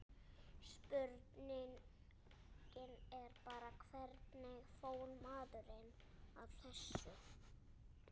Spurningin er bara, hvernig fór maðurinn að þessu?